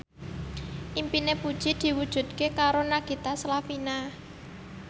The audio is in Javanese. impine Puji diwujudke karo Nagita Slavina